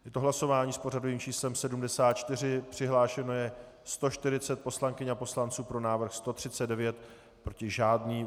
Je to hlasování s pořadovým číslem 74, přihlášeno je 140 poslankyň a poslanců, pro návrh 139, proti žádný.